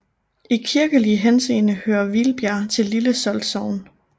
I kirkelig henseende hører Hvilbjerg til Lille Solt Sogn